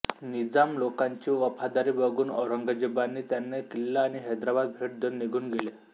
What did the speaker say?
निजाम लोकांची वफादारी बघून औरंगजेबाने त्यांना किल्ला आणि हैद्राबाद भेट देऊन निघून गेला